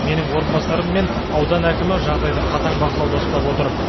менің орынбасарым мен аудан әкімі жағдайды қатаң бақылауда ұстап отыр